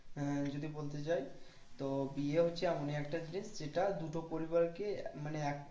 হ্যাঁ যদি বলতে যাই তো বিয়ে হচ্ছে এমনই একটা জিনিস যেটা দুটো পরিবারকে মানে এক